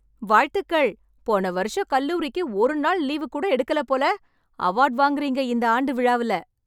வாழ்த்துக்கள், போன வருஷம் கல்லூரிக்கு ஒரு நாள் லீவு கூட எடுக்கல போல. அவார்ட் வாங்குறீங்க இந்த ஆண்டு விழால.